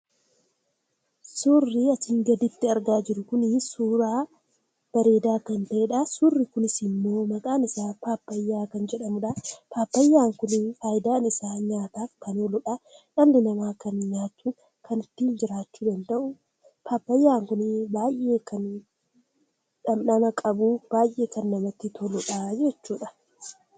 Suurri asii gaditti argaa jirru kun suuraa bareeda kan ta'edha. Suurri kunis immo maqaan isaa Paappaayyaa kan jedhamudha. Paappaayyaan kun faayidaan isaa nyaataaf kan ooluudha. Dhalli nama kan nyaatuuf kan ittin jiraachuu danda'u Paappaayyaan kun kan dhamdhama qabu, baay'ee kan namatti toludha jechudha.